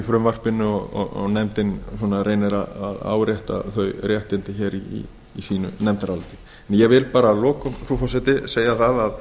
frumvarpinu og nefndin reynir að árétta þau réttindi í sínu nefndaráliti ég vil bara að lokum frú forseti segja að